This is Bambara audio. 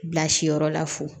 Bilasiyɔrɔ la fo